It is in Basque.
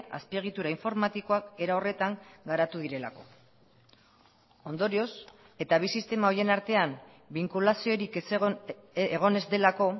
azpiegitura informatikoak era horretan garatu direlako ondorioz eta bi sistema horien artean binkulaziorik egon ez delako